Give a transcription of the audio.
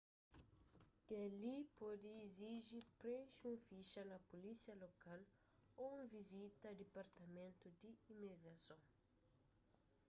kel-li pode iziji prenxe un fixa na pulísia lokal ô un vizita a dipartamentu di imigrason